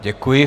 Děkuji.